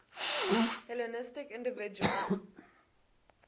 hellenistic individuals